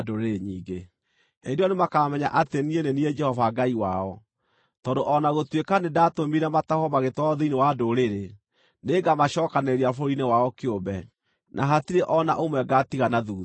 Hĩndĩ ĩyo nĩmakamenya atĩ niĩ nĩ niĩ Jehova Ngai wao, tondũ o na gũtuĩka nĩndatũmire matahwo magĩtwarwo thĩinĩ wa ndũrĩrĩ, nĩngamacookanĩrĩria bũrũri-inĩ wao kĩũmbe, na hatirĩ o na ũmwe ngaatiga na thuutha.